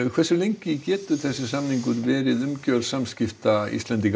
hversu lengi getur samningurinn verið umgjörð samskipta Íslendinga